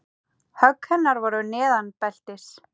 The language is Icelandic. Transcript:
Högg hennar voru neðan beltis.